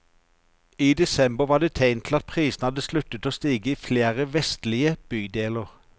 I desember var det tegn til at prisene hadde sluttet å stige i flere vestlige bydeler.